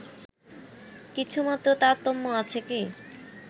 কিছুমাত্র তারতম্য আছে কি